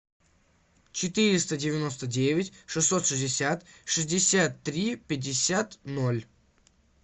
четыреста девяносто девять шестьсот шестьдесят шестьдесят три пятьдесят ноль